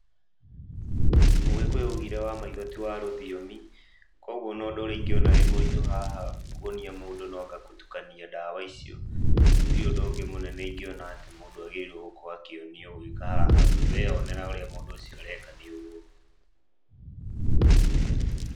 Mũgĩkũyũ oigire wa maitho ti wa rũthiomi koguo ona ũndũ ũrĩa ingĩona wĩ mũritũ haha kuonia mũndũ no anga gũtukania ndawa icio. Hatirĩ ũndũ ũngĩ mũnene ingĩona atĩ mũndũ nĩ agĩrĩirwo gũkorwo akĩonio ũgĩka haha, tondũ weyonera ũrĩa mũndũ ũcio areka nĩ ũguo.